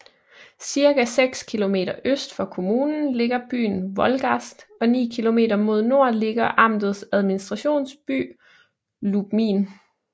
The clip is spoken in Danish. Cirka seks kilometer øst for kommunen ligger byen Wolgast og ni kilometer mod nord ligger amtets administrationsby Lubmin